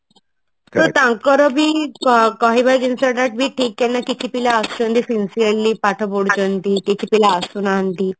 ତ ତାଙ୍କର ବି କହିବା ଜିନିଷ ଏଟା କି ଠିକ ଆମେ କିଛି ପିଲା ରେ ପାଠ ପଢୁଛନ୍ତି କିଛି ପିଲା ଆସୁନାହାନ୍ତି